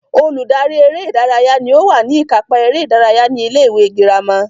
Olùdarí eré ìdárayá ní ó wà ní ìkápá eré ìdárayá ní ilé ìwé girama